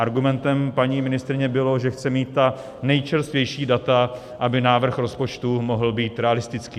Argumentem paní ministryně bylo, že chce mít ta nejčerstvější data, aby návrh rozpočtu mohl být realistický.